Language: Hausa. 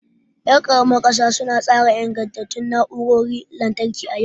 Yar karamar kusa su na tsara ingantattun na'urorin lantarki a yau.